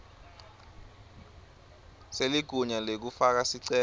seligunya lekufaka sicelo